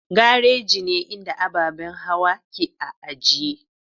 Garaji ne inda ababen hawa ke a ajiye.